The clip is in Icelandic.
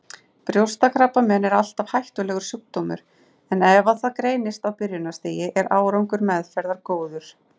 Brjóstakrabbamein er alltaf hættulegur sjúkdómur en ef það greinist á byrjunarstigi er árangur meðferðar góður.